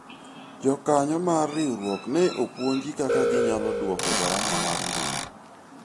jokanyo mar riwruok ne opuonji kaka ginyalo dwoko garama mar ngima